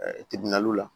la